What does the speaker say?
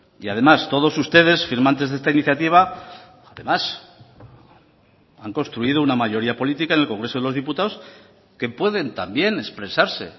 y además todos ustedes firmantes de esta iniciativa además han construido una mayoría política en el congreso de los diputados que pueden también expresarse